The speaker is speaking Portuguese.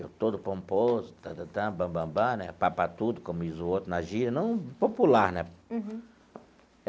Eu todo pomposo bambambã né, como diz o outro, na gíria, não popular, né? Uhum.